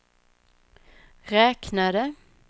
räknade